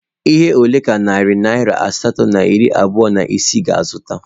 Ihe ole ka narị naira asatọ na iri abụọ na isii ga-azụta??